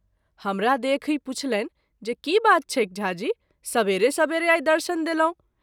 हमरा देखि पुछलनि जे की बात छैक झा जी, सबेरे सबेरे आई दर्शन देलहुँ।